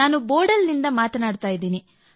ನಾನು ಬೋಡಲ್ನಿಂದ ಮಾತಾಡುತ್ತಿದ್ದೇನೆ